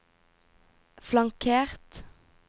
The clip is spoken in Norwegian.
flankert